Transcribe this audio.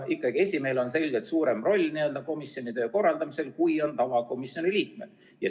Esimehel on ikkagi selgelt suurem roll komisjoni töö korraldamisel kui tavaliikmel.